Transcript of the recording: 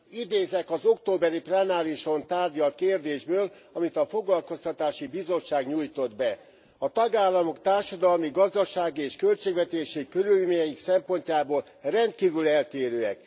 Idézek az októberi plenárison tárgyalt kérdésből, amelyet a Foglalkoztatási és Szociális Bizottság nyújtott be A tagállamok társadalmi, gazdasági és költségvetési körülményeik szempontjából rendkívül eltérőek.